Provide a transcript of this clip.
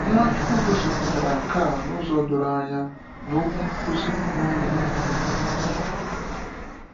Nwachukwu gosipụtara nke a n’ụzọ doro anya na Okwu Nkuzi n’Ugwu.